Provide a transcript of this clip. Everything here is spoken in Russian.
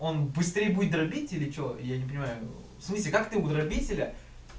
он быстрее будет дробить или что я не понимаю в смысле как ты у дробителя